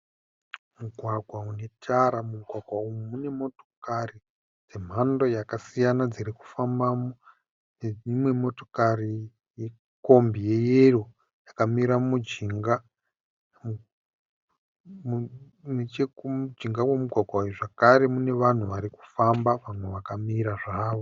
Mugwagwa unetara. Mumugwagwa umu mune motokari dzemhando yakasiyana dzirikufambamo. Nedzimwe motokari , nekombi ye yero yakamira mujinga. Nechekumujinga wemugwagwa umu zvekare mune vanhu vari kufamba vamwe vakamira zvavo.